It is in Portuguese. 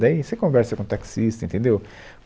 Daí você conversa com o taxista, entendeu?